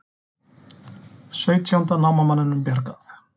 Sautjánda námamanninum bjargað